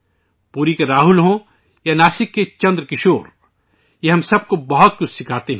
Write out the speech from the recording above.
پوری کے راہل ہوں یا ناسک کے چندرکشور، یہ ہم سب کو بہت کچھ سکھاتے ہیں